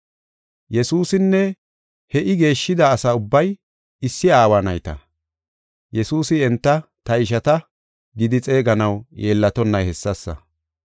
Yesuusinne he I geeshshida asa ubbay issi aawa nayta. Yesuusi enta, “Ta ishata” gidi xeeganaw yeellatonnay hessasa.